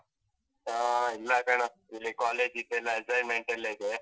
ಆ ಇಲ್ಲ ಕಣೋ ಇಲ್ಲಿ college ದೆಲ್ಲಾ assignment ಎಲ್ಲ ಇದೆ.